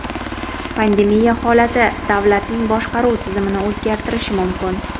Pandemiya holati davlatlarning boshqaruv tizimini o‘zgartirishi mumkin?